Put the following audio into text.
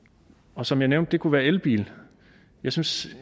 og som jeg nævnte kunne det være elbil jeg synes